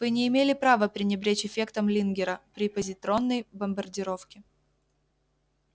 вы не имели права пренебречь эффектом лингера при позитронной бомбардировке